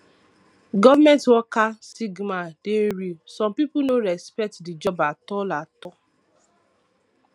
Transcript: government worker stigma dey real some pipo no respect di job at all all